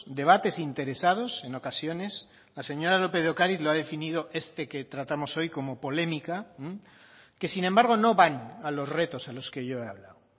debates interesados en ocasiones la señora lópez de ocariz lo ha definido este que tratamos hoy como polémica que sin embargo no van a los retos a los que yo he hablado